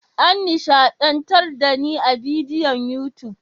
An nishadantar da ni a bidiyon YouTube.